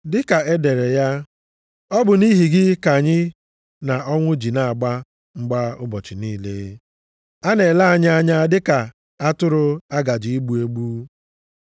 Dịka e dere ya, “Ọ bụ nʼihi gị ka anyị na ọnwụ ji na-agba mgba ụbọchị niile. A na-ele anyị anya dịka atụrụ a gaje igbu egbu.” + 8:36 \+xt Abụ 44:22\+xt*